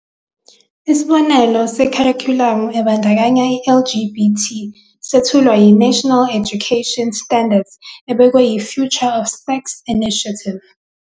Isibonelo sekharikhulamu ebandakanya i-LGBT sethulwa yiNational National Education Education Standards ebekwe yiFuture of Sex Education Initiative.